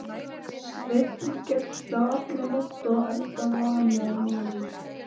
Sveinn gekk þá nótt alla enda vanur maður.